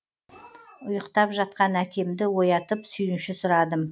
ұйықтап жатқан әкемді оятып сүйінші сұрадым